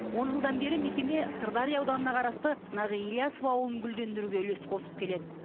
он жылдан бері мекеме сырдария ауданына қарасты нағи ілиясов ауылын гүлдендіруге үлесін қосып келеді